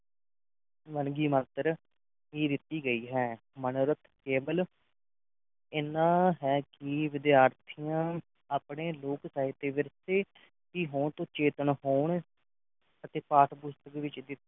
ਵੰਨਗੀ ਮਸਤਰ ਹੀ ਦਿੱਤੀ ਗਈ ਹੈ ਮਨੋਰਥ ਕੇਵਲ ਇਹਨਾਂ ਇਹ ਕਿ ਵਿਦਿਆਰਥੀਆਂ ਆਪਣੇ ਲੋਕ ਸਾਹਿਤ ਵਿਰਸੇ ਵਿੱਚ ਹੀ ਵਿਰਸੇ ਹੋਣ ਤੋਂ ਚੇਤਨ ਹੋਣ ਅਤੇ ਪਾਠ ਪੁਸਤਕ ਵਿੱਚ ਦਿੱਤੀ